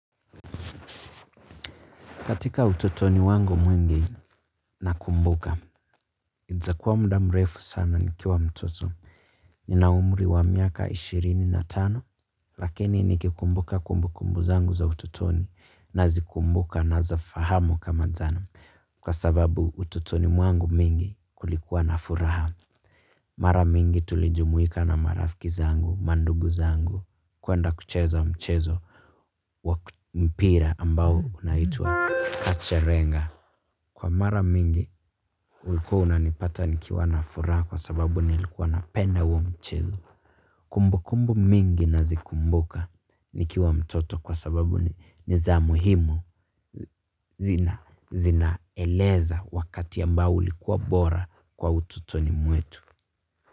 Katika utotoni wangu mwingi na kumbuka. Ita kuwa muda mrefu sana ni kiwa mtoto. Nina umri wa miaka ishirini na tano, lakini nikikumbuka kumbu kumbu zangu za utotoni na zikumbuka na zifahamu kama jana. Kwa sababu utotoni mwangu mingi kulikuwa na furaha. Mara mingi tulijumuika na marafiki zangu, mandugu zangu, kwenda kucheza mchezo wa mpira ambao unaitwa Kacherenga. Kwa mara mingi, ulikuwa unanipata nikiwa na furaha kwa sababu nilikuwa napenda huo mchezo. Kumbu kumbu mingi nazikumbuka nikiwa mtoto kwa sababu ni za muhimu zina eleza wakati ambao ulikuwa bora kwa utotoni mwetu.